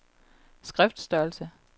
skriftstørrelse